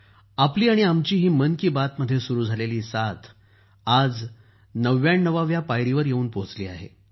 आपली आणि आमची ही मन की बात मध्ये सुरू झालेली साथ आज ९९ व्या पायरीवर य़ेऊन पोहचली आहे